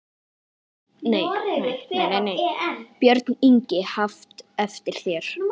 Björn Ingi: Haft eftir þér?